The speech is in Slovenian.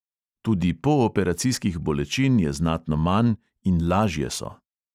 Tudi pooperacijskih bolečin je znatno manj in lažje so.